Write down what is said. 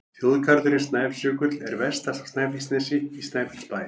Þjóðgarðurinn Snæfellsjökull er vestast á Snæfellsnesi, í Snæfellsbæ.